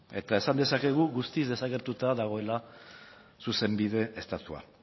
eta esan dezakegu guztiz desagertuta dagoela zuzenbide estatua